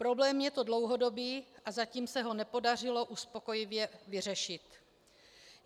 Problém je to dlouhodobý a zatím se ho nepodařilo uspokojivě vyřešit.